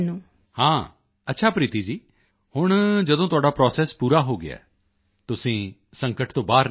ਹਾਂ ਅੱਛਾ ਪ੍ਰੀਤੀ ਜੀ ਹੁਣ ਜਦੋਂ ਤੁਹਾਡਾ ਪ੍ਰੋਸੈਸ ਪੂਰਾ ਹੋ ਗਿਆ ਤੁਸੀਂ ਸੰਕਟ ਤੋਂ ਬਾਹਰ ਨਿਕਲ ਆਏ